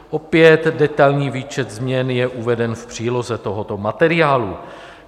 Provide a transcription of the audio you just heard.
Opět detailní výčet změn je uveden v příloze tohoto materiálu.